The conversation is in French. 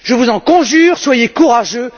Je vous en conjure soyez courageux.